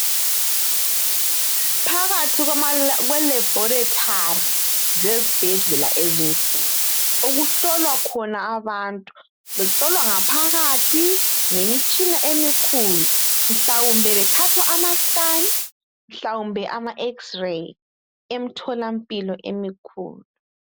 Phakathi kwe laboratory zezibhedlela ezinkulu okuhlolwa khona abantu behlolwa ngaphakathi ngemitshina emikhulu mhlawumbe bethathwa ama scan mhlawumbe ama X rays emtholampilo emikhulu.